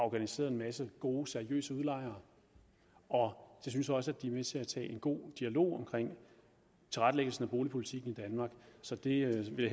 organiseret en masse gode seriøse udlejere og jeg synes også at de er med til at tage en god dialog om tilrettelæggelsen af boligpolitikken i danmark så det vil